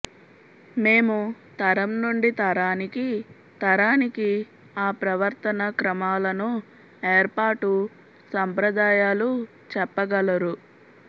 మేము తరం నుండి తరానికి తరానికి ఆ ప్రవర్తన క్రమాలను ఏర్పాటు సంప్రదాయాలు చెప్పగలరు